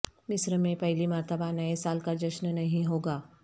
مصر میں پہلی مرتبہ نئے سال کا جشن نہیں ہوگا